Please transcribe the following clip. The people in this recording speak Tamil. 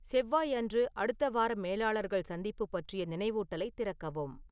செவ்வாய் அன்று அடுத்த வார மேலாளர்கள் சந்திப்பு பற்றிய நினைவூட்டலைத் திறக்கவும்